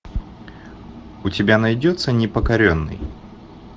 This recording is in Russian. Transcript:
у тебя найдется непокоренный